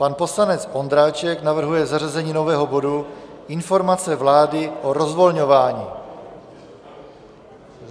Pan poslanec Ondráček navrhuje zařazení nového bodu Informace vlády o rozvolňování.